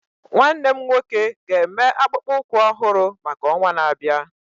Nwannem nwoke ga eme akpụkpọ ụkwụ ọhụrụ maka ọnwa na-abịa